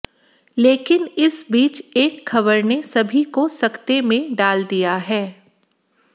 लेकिन इस बीच एक खबर ने सभी को सकते में डाल दिया है